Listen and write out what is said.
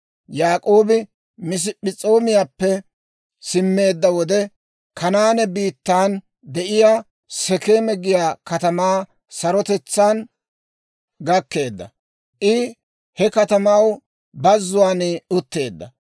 Yaak'oobi Masp'p'es'oomiyaappe simmeedda wode, Kanaane biittan de'iyaa Sekeeme giyaa katamaa sarotetsaan gakkeedda; I he katamaw bazzuwaan utteedda.